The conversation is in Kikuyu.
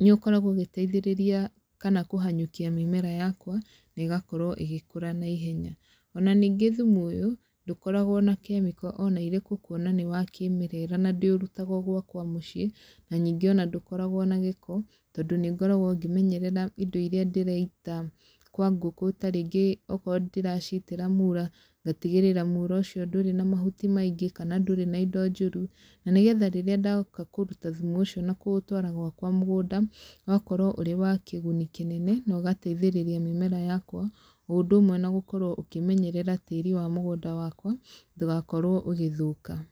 nĩ ũkoragwo ũgĩteithĩrĩria kana kũhanyũkia mĩmera yakwa, nĩ ĩgakorwo ĩgĩkũra naihenya. Ona ningĩ thumu ũyũ, ndũkoragwo na kemiko ona irĩkũ kuona nĩ wa kĩmerera na ndĩũrutaga o gwakwa mũciĩ, na nyingĩ ona ndũkoragwo na gĩko, tondũ nĩ ngoragwo ngĩmenyerera indo irĩa ndĩraita kwa ngũkũ tarĩngĩ okorwo ndĩracitĩra muura, ngatigĩrĩra muura ũcio ndũrĩ na mahuti maingĩ, kana ndũrĩ na indo njũru. Na nĩgetha rĩrĩa ndoka kũruta thumu ũcio na kũũtwara gwakwa mũgũnda, ũgakorwo ũrĩ wa kĩguni kĩnene, na ũgateithĩrĩria mĩmera yakwa, o ũndũ ũmwe na gũkorwo ũkĩmenyerera tĩĩri wa mũgũnda wakwa, ndũgakorwo ũgĩthũka.